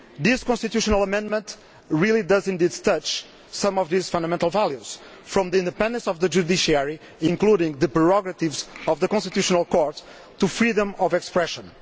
The constitutional amendments do indeed affect some of these fundamental values, from the independence of the judiciary, including the prerogatives of the constitutional court, to freedom of expression.